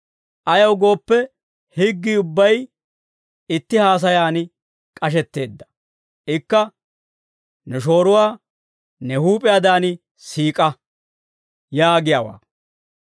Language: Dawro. Ayaw gooppe, higgii ubbay itti haasayan k'ashetteedda; ikka, «Ne shooruwaa ne huup'iyaadan siik'a» yaagiyaawaa.